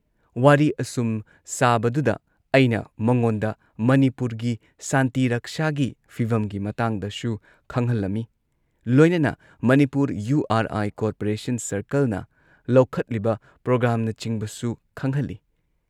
ꯋꯥꯔꯤ ꯑꯁꯨꯝ ꯁꯥꯕꯗꯨꯗ ꯑꯩꯅ ꯃꯉꯣꯟꯗ ꯃꯅꯤꯄꯨꯔꯒꯤ ꯁꯥꯟꯇꯤ ꯔꯛꯁꯥꯒꯤ ꯐꯤꯚꯝꯒꯤ ꯃꯇꯥꯡꯗꯁꯨ ꯈꯪꯍꯜꯂꯝꯏ ꯂꯣꯏꯅꯅ Manipur U R I corporation ꯁꯔꯀꯜꯅ ꯂꯧꯈꯠꯂꯤꯕ ꯄ꯭ꯔꯣꯒ꯭ꯔꯥꯝꯅꯆꯤꯡꯕꯁꯨ ꯈꯪꯍꯜꯂꯤ ꯫